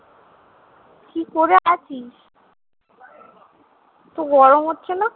কি করে আছিস? তোর গরম হচ্ছে না?